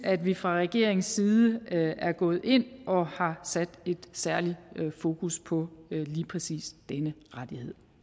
at vi fra regeringens side er gået ind og har sat et særligt fokus på lige præcis denne rettighed